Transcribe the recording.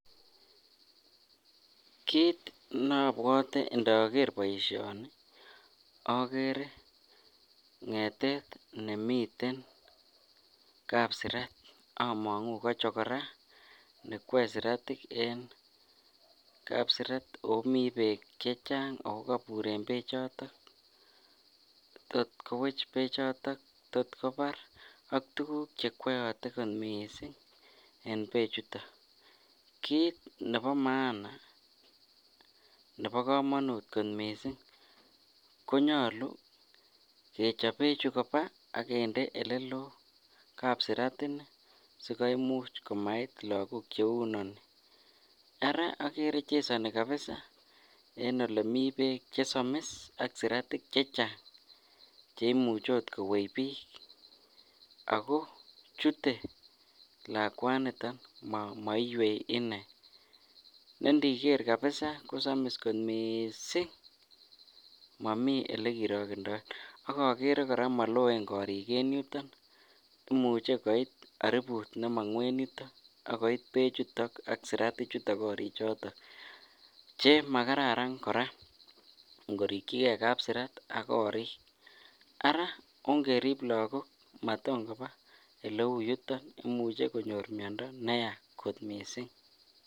Kiit nobwote indoker boishoni okere ngetet nemiten kapsirat among'u kochokora nekwoe siratik en kapsirat ak komii beek chechang ak ko koburen bechoton tot kowech bechoton, tot kobar ak tukuk chekwoyote kot mising en bechuton, kiit nebo maana nebo komonut kot mising konyolu kechob bechu koba ak kinde eleloo kapsirat inii sikoimuch komait lokok cheuu inonii, araa okere chesoni kabisaa en olemii beek chesomis ak siratik chechang cheimuche okot kowech biik ak ko chutee lakwaniton moiwei inee, nee ndiker kabisaa kosomis kot mising momii olekirokendoen, ak okeree kora moloen koriik en yuton, imuche koit aribut nemong'u en yuton ak koit bechutok ak siratik korichuton chemakararan kora ing'orikyike kapsirat ak korik, araa ongerip lokok maton kobaa eleuyuton imuche konyor miondo neyaa kot mising.